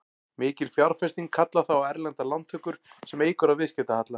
Mikil fjárfesting kallar þá á erlendar lántökur sem eykur á viðskiptahalla.